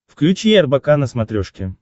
включи рбк на смотрешке